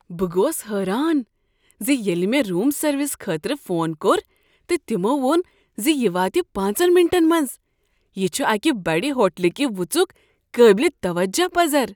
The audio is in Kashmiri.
بہ گوس حیران زِییٚلہ مےٚ روم سروس خٲطرٕ فون كوٚر تہٕ تمو ووٚن ز یہ واتہِ پانژن منٹن منٛز، یہ چھ اکہ بڑ ہوٹل کہ وژُک قابل توجہ پزر۔